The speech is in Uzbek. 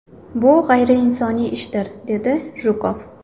Bu g‘ayriinsoniy ishdir”, dedi Jukov.